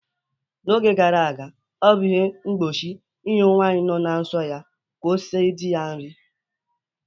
N'oge gara aga, o bụ ihe mgbochi nye nwanyị no na nsọ ya ka o sie di ya nri